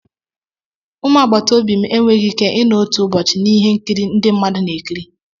Ụmụ agbataobi m enweghị ike ịnọ otu ụbọchị na ihe nkiri ndị mmadụ na-ekiri.